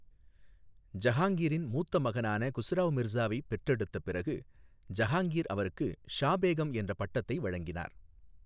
ஜஹாங்கிரின் மூத்த மகனான குஸ்ராவ் மிர்சாவை பெற்றெடுத்த பிறகு ஜஹாங்கிர் அவருக்கு ஷா பேகம் என்ற பட்டத்தை வழங்கினார்.